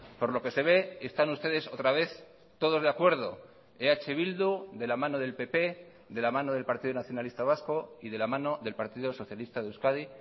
por lo que se ve están ustedes otra vez todos de acuerdo eh bildu de la mano del pp de la mano del partido nacionalista vasco y de la mano del partido socialista de euskadi